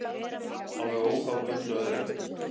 Alveg óháð öllu öðru.